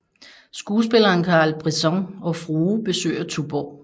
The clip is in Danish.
Skuespilleren Carl Brisson og frue besøger Tuborg